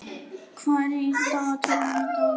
Gilla, hvað er í dagatalinu í dag?